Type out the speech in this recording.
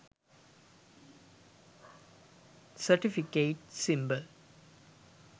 certificate symbol